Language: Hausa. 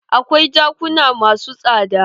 Akwai jakuna masu tsada.